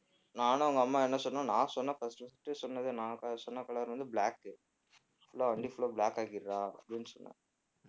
நானும் அவங்க அம்மாவும் என்ன சொன்னோம் நான் சொன்னேன் first உ first உ சொன்னது நான் சொன்ன color வந்து black உ full ஆ வண்டி full ஆ black ஆக்கிடுறா அப்படின்னு சொன்னேன்